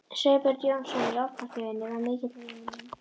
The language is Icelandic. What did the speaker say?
Sveinbjörn Jónsson í Ofnasmiðjunni var mikill vinur minn.